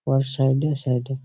আর side -এ side -এ --